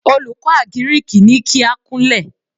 Olùkọ́ àgíríkì ní kí á kúnlẹ̀.